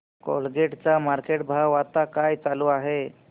Colgate चा market भाव आता काय चालू आहे